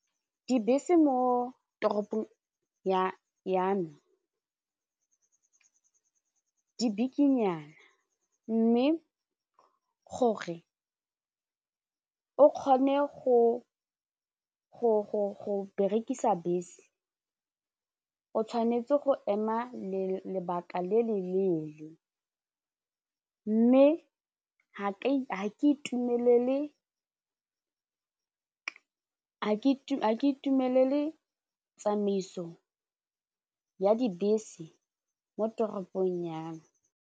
Dibese mo toropong ya me di bikinyana mme gore o kgone go berekisa bese o tshwanetse go ema le lebaka le le leele mme ha ke itumelele tsamaiso ya dibese mo toropong ya me.